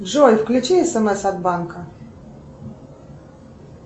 джой включи смс от банка